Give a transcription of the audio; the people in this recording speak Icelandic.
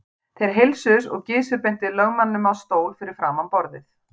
Þeir heilsuðust og Gizur benti lögmanninum á stól fyrir framan borðið.